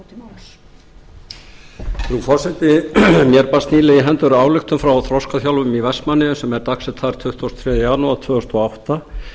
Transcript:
frú forseti mér barst nýlega í hendur ályktun frá þroskaþjálfum í vestmannaeyjum sem er dagsett þar tuttugasta og þriðja janúar tvö þúsund og átta